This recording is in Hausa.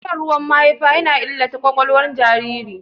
Shan ruwan mahaifa yana illata ƙwaƙwalwar jinjirin.